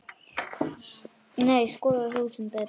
Nei, skoðaðu hug þinn betur.